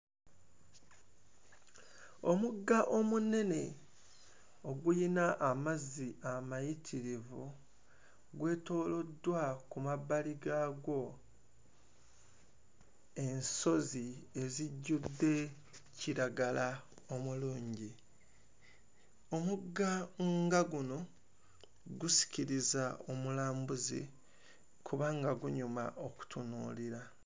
Omugga omunene oguyina amazzi amayitirivu gwetooloddwa ku mabbali gaagwo ensozi ezijjudde kiragala omulungi. Omugga nga guno gusikiriza omulambuzi kubanga gunyuma okutunuulira.